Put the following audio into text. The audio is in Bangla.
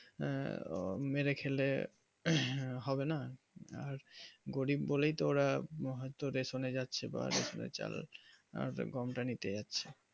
আহ মেরে খেলে হবে না আর গরিব বলেই তো ওরা হয় তো রেশনে যাচ্ছে বা চাল গম তা নিতে যাচ্ছে